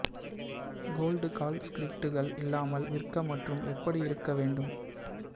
gold call ஸ்கிரிப்டுகள் இல்லாமல் விற்க மற்றும் எப்படி இருக்க வேண்டும்